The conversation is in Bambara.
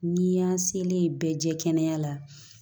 N'i y'an selen bɛɛ jɛkana la